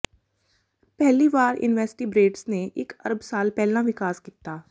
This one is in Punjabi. ਪਹਿਲੀ ਵਾਰ ਇਨਵੈਸਟੀਬ੍ਰੇਟਸ ਨੇ ਇਕ ਅਰਬ ਸਾਲ ਪਹਿਲਾਂ ਵਿਕਾਸ ਕੀਤਾ